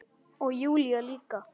Og Júlía líka.